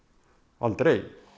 aldrei